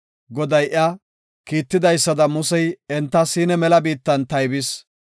Goday iya Kiittidaysada Musey enta Siina mela biittan taybis.